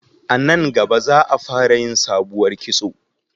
A nan gaba za a fara yin sabuwar kitso